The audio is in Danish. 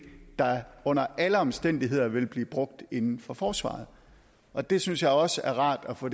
der under alle omstændigheder vil blive brugt inden for forsvaret og det synes jeg også er rart at få